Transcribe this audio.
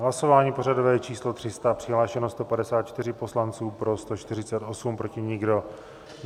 Hlasování pořadové číslo 300, přihlášeno 154 poslanců, pro 148, proti nikdo.